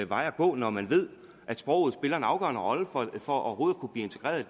vej at gå når man ved at sproget spiller en afgørende rolle for overhovedet